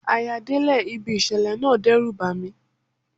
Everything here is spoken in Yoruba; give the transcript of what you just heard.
À-yà délẹ̀ ibi ìṣẹ̀lẹ̀ náà dẹ́rùbà ni.